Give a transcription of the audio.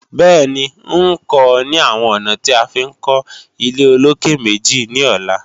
Bẹ́ẹ̀ni, ń kọ́ ọ ní àwọn ọ̀nà tí a fi ń kọ́ ilé-olókè-méjì ní ọ̀la